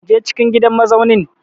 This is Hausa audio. Je cikin gidan mazaunin!